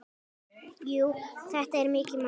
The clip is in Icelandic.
Jú, þetta er mikið mál.